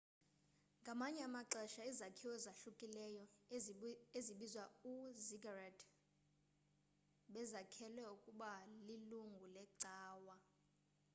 ngamanye amaxesha izakhiwo ezohlukileyo ezibizwa ii-ziggurat bezakhelwe ukuba lilungu leecawa